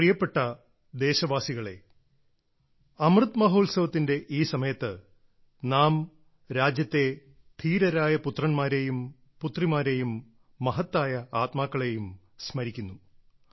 എന്റെ പ്രിയപ്പെട്ട ദേശവാസികളെ അമൃത് മഹോത്സവത്തിന്റെ ഈ സമയത്ത് നാം രാജ്യത്തെ ധീരരായ പുത്രൻമാരേയും പുത്രിമാരേയും മഹത്തായ ആത്മാക്കളെയും സ്മരിക്കുന്നു